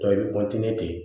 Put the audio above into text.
i bɛ de